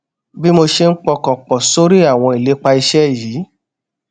bí mo ṣe ń pọkàn pò sórí àwọn ìlépa iṣé yìí